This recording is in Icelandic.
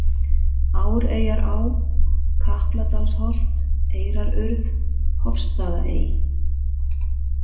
Áreyjará, Kapladalsholt, Eyrarurð, Hofstaðaey